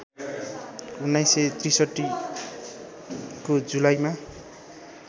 १९६३ को जुलाईमा